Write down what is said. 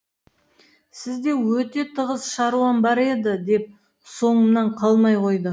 сізде өте тығыз шаруам бар еді деп соңымнан қалмай қойды